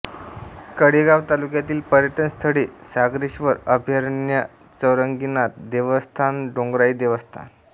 कडेगाव तालुक्यातील पर्यटन स्थळे सागरेश्वर अभयारण्यचौरंगीनाथ देवस्थानडोंगराई देवस्थान